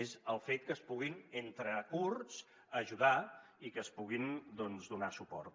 és el fet que es puguin entre kurds ajudar i que es puguin donar suport